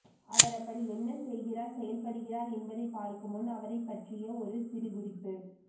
அவர் அப்படி என்ன செய்கிறார் செயல்படுகிறார் என்பதை பார்க்கும் முன் அவரைப்பற்றிய ஒரு சிறு குறிப்பு